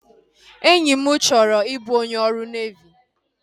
Enyi m chọrọ i bụ onye ọrụ nevi